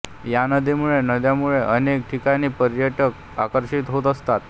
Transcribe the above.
या नदीमुळे नद्यामुळे अनेक ठिकाणी पर्यटक आकर्षित होत असतात